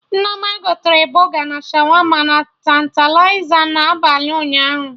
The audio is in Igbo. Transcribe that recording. Nneoma gotere Bọga na Shawama na Tantaliza na abalị ụnyaahụ